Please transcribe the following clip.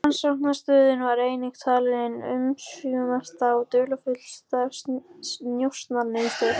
Rannsóknarstöðin var einnig talin ein umsvifamesta og dularfyllsta njósnamiðstöð